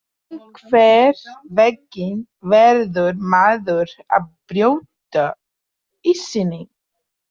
Einhvern veginn verður maður að brjóta ísinn